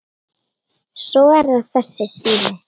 Svo er það þessi sími.